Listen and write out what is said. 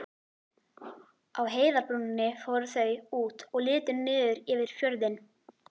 Á heiðarbrúninni fóru þau út og litu niður yfir fjörðinn.